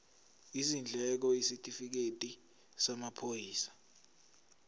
izindleko isitifikedi samaphoyisa